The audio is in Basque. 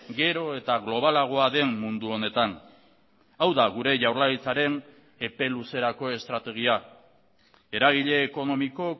gero eta globalagoa den mundu honetan hau da gure jaurlaritzaren epe luzerako estrategia eragile ekonomiko